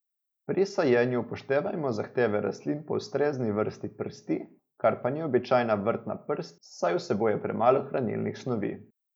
Pri sajenju upoštevajmo zahteve rastlin po ustrezni vrsti prsti, kar pa ni običajna vrtna prst, saj vsebuje premalo hranilnih snovi.